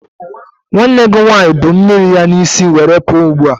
Nwanne gị nwanyị bu mmiri ya n'isi were pụọ ugbua.